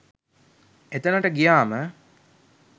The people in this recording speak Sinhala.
එතනට ගියාම